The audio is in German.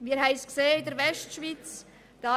Wir haben es in der Westschweiz gesehen: